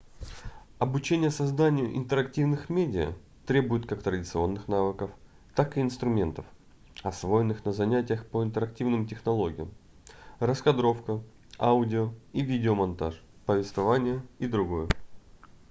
обучение созданию интерактивных медиа требует как традиционных навыков так и инструментов освоенных на занятиях по интерактивным технологиям раскадровка аудио- и видеомонтаж повествование и др.